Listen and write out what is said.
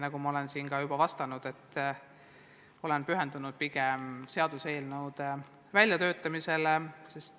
Nagu ma olen siin juba vastanud, ma olen pigem pühendunud seaduseelnõude väljatöötamisele.